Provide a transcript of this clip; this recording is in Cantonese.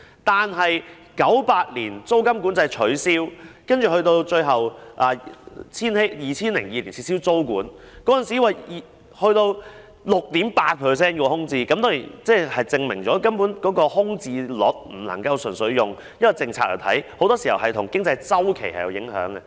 但到1998年撤銷租金管制及最後在2002年撤銷租務管制後，那時候的空置率高達 6.8%， 證明空置率並非純粹取決於政策，很多時也受經濟周期影響。